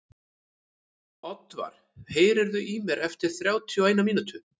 Oddvar, heyrðu í mér eftir þrjátíu og eina mínútur.